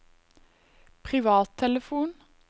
privattelefon